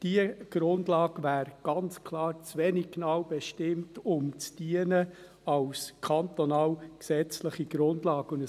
Diese Grundlage wäre ganz klar zu wenig genau bestimmt, um als kantonale gesetzliche Grundlage zu dienen.